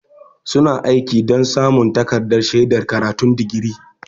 Suna aiki don samun takardar shaidar karatun digiri.